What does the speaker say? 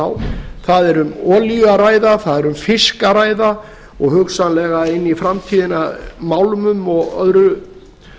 á það er um olíu að ræða það er um fisk að ræða og hugsanlega inn í framtíðina málma og öðrum